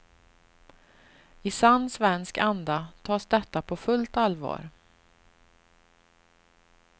I sann svensk anda tas detta på fullt allvar.